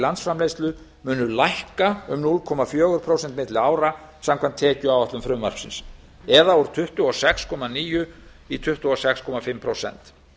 landsframleiðslu munu lækka um núll komma fjögur prósent milli ára samkvæmt tekjuáætlun frumvarpsins úr tuttugu og sex komma níu prósent í tuttugu og sex og hálft prósent